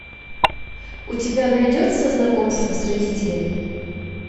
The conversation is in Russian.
у тебя найдется знакомство с родителями